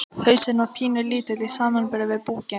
Hausinn var pínulítill í samanburði við búkinn.